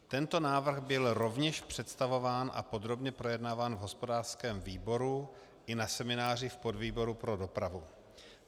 Tento návrh byl rovněž představován a podrobně projednáván v hospodářském výboru i na semináři v podvýboru pro dopravu.